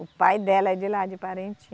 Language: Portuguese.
O pai dela é de lá, de Parintins.